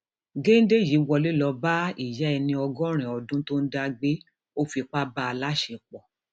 gèdè yìí wọlé lọọ bá ìyá ẹni ọgọrin ọdún tó ń dá gbé ọ fipá bá a láṣepọ